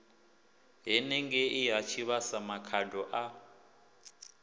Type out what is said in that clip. henengei ha tshivhasa makhado a